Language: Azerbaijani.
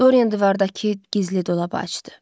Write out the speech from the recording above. Doryan divardakı gizli dolabı açdı.